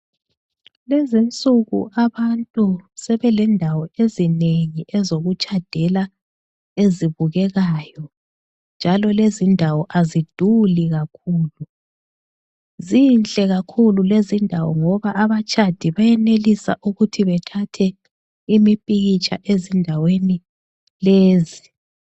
Lezi nsuku abantu sebelendawo ezinengi ezokutshadela ezibukekayo njalo lezi ndawo aziduli kakhulu. Zinhle kakhulu lezi ndawo ngoba abatshadi beyenelisa ukuthi bethathe imipikitsha ezindaweni lezi.